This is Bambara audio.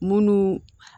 Munnu